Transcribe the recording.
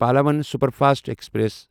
Pallavan superfast express